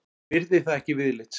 Virði það ekki viðlits.